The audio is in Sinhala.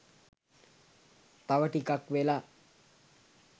තව ටිකක් වෙලා.